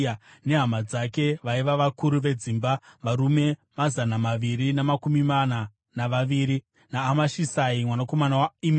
nehama dzake vaiva vakuru vedzimba, varume mazana maviri namakumi mana navaviri; naAmashisai mwanakomana waImeri,